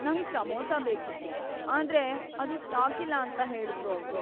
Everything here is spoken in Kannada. ನಂಗ್ ಸಮೋಸ ಬೇಕಿತ್ತು, ಆದ್ರೆ ಅದು ಸ್ಟಾಕಿಲ್ಲ ಅಂತ ಹೇಳುದ್ರು ಅವ್ರು.